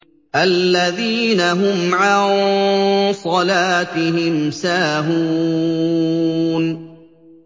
الَّذِينَ هُمْ عَن صَلَاتِهِمْ سَاهُونَ